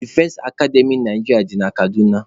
Defense Akademy Naịjirịa dị na Kaduna.